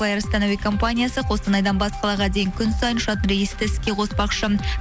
флайл астана компаниясы қостанайдан бас қалада дейін күн сайын ұшатын рейсті іске қоспақшы